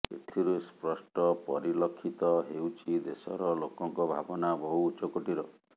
ଏଥିରୁ ସ୍ପଷ୍ଟ ପରିଲଖିତ ହେଉଛି ଦେଶର ଲୋକଙ୍କ ଭାବନା ବହୁ ଉଚ୍ଚକୋଟୀର